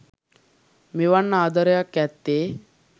මෙවන් ආදරයක් ඇත්තේ